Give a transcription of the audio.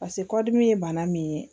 Paseke kɔdimi ye bana min ye